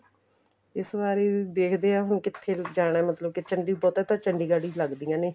ਤੇ ਵਾਰ ਦੇਖਦੇ ਹਾਂ ਹੁਣ ਕਿੱਥੇ ਜਾਣਾ ਮਤਲਬ ਕੇ ਬਹੁਤਾ ਤਾਂ ਚੰਡੀਗੜ੍ਹ ਹੀ ਲੱਗਦੀਆ ਨੇ